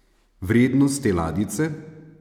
Vrednost te ladjice?